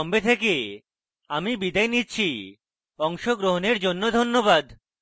I I T Bombay থেকে আমি বিদায় নিচ্ছি অংশগ্রহণের জন্য ধন্যবাদ